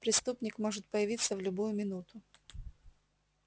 преступник может появиться в любую минуту